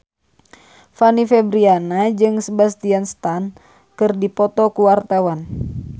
Fanny Fabriana jeung Sebastian Stan keur dipoto ku wartawan